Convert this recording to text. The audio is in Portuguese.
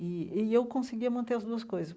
E e eu conseguia manter as duas coisas.